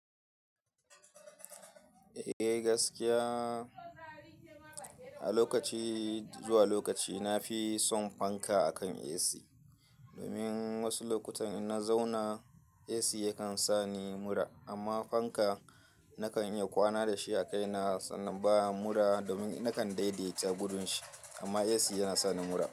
Eh gaskiya a lokaci zuwa lokaci nafi son fanka akan AC domin wasu lokutan in na zauna AC yakan sani mura amma fanka na kan iya kwana da shi a kaina sannan baya mura domin na kan daidaita gudun shi amma AC yana sani mura.